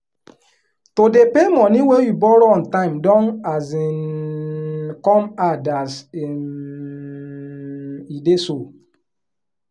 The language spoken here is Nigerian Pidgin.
to dey pay money wey you borrow on time don um come hard as um e dey so